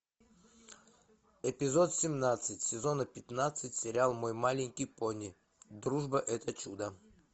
эпизод семнадцать сезона пятнадцать сериал мой маленький пони дружба это чудо